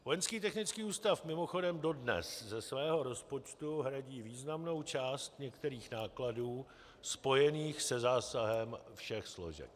Vojenský technický ústav mimochodem dodnes ze svého rozpočtu hradí významnou část některých nákladů spojených se zásahem všech složek.